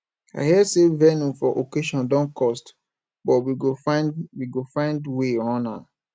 i hear sey venue for occasion don cost but we go find we go find wey run am